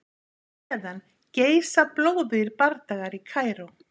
Á meðan geisa blóðugir bardagar í Kaíró.